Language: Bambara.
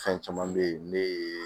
Fɛn caman be yen ne ye